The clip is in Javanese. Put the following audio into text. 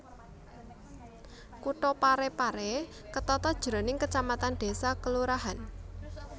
Kutha Pare Pare ketata jroning kecamatan desa kelurahan